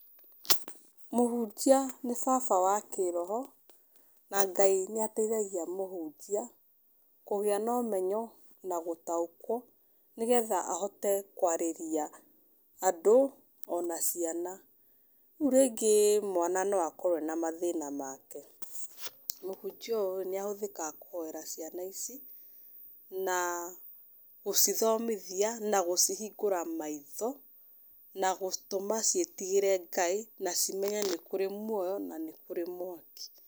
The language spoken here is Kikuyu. Mũhunjia nĩ baba wa kĩroho, na Ngai nĩateithagia mũhunjia kũgĩa na ũmenyo na gũtaũkwo, nĩgetha ahote kwarĩria andũ ona ciana. Rĩu rĩngĩ mwana no akorwo ena mathĩna make, mũhunjia ũyũ nĩahũthĩkaga kũhoera ciana ici na gũcithomithia na gũcihingũra maitho na gũtũma ciĩtigĩre Ngai, na cimenye nĩ kũrĩ muoyo na nĩ kũrĩ mwaki.